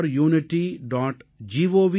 gov